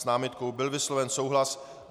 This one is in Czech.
S námitkou byl vysloven souhlas.